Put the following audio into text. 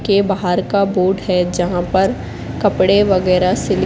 के बाहर का बोर्ड है। जहां पर कपड़े वगैरा से--